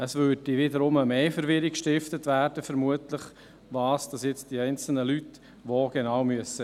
Vermutlich würde mehr Verwirrung darüber gestiftet, was die einzelnen Leute wo einwerfen müssen.